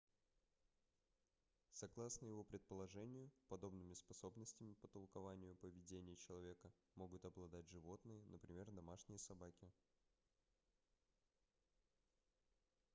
согласно его предположению подобными способностями по толкованию поведения человека могут обладать животные например домашние собаки